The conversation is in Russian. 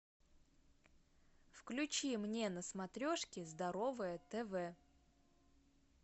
включи мне на смотрешке здоровое тв